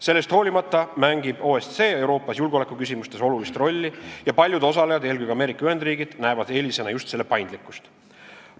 Sellest hoolimata mängib OSCE Euroopas julgeolekuküsimustes olulist rolli ja paljud osalejad, eelkõige Ameerika Ühendriigid, näevad eelisena just selle paindlikkust.